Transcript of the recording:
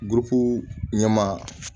ɲɛmaa